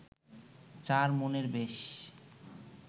চার মনের বেশ